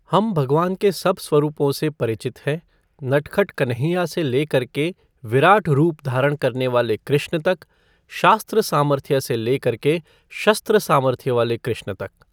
हम भगवान के सब स्वरूपों से परिचित हैं, नटखट कन्हैया से ले करके विराट रूप धारण करने वाले कृष्ण तक, शास्त्र सामर्थ्य से ले करके शस्त्र सामर्थ्य वाले कृष्ण तक।